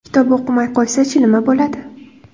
Kitob o‘qimay qo‘ysa-chi, nima bo‘ladi?